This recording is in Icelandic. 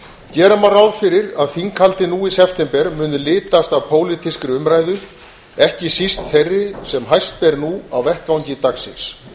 gera má ráð fyrir að þinghaldið nú í september muni litast af pólitískri umræðu ekki síst þeirri sem hæst ber nú á vettvangi dagsins